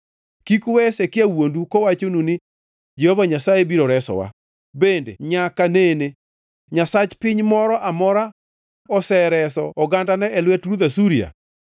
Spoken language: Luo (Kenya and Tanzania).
“Kik uwe Hezekia wuondu kowachonu ni, ‘Jehova Nyasaye biro resowa.’ Bende nyaka nene nyasach piny moro amora osereso ogandane e lwet ruodh Asuria?